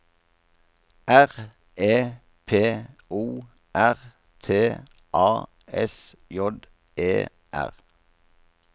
R E P O R T A S J E R